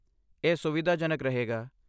ਇਹ ਸੁਵਿਧਾਜਨਕ ਰਹੇਗਾ।